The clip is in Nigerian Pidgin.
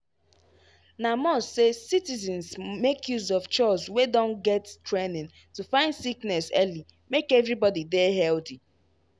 na must say citizens make use of chws wey don get training to find sickness early make everybody dey healthy.